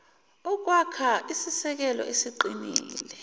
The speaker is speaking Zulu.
ukwakha isisekelo esiqinile